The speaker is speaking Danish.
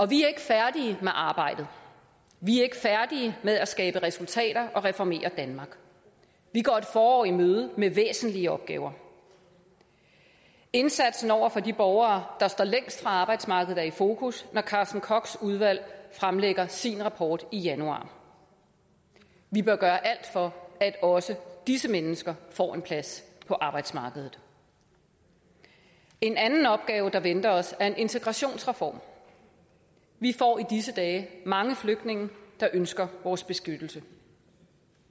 vi er ikke færdige med arbejdet vi er ikke færdige med at skabe resultater og reformere danmark vi går et forår i møde med væsentlige opgaver indsatsen over for de borgere der står længst fra arbejdsmarkedet er i fokus når carsten kochs udvalg fremlægger sin rapport i januar vi bør gøre alt for at også disse mennesker får en plads på arbejdsmarkedet en anden opgave der venter os er en integrationsreform vi får i disse dage mange flygtninge der ønsker vores beskyttelse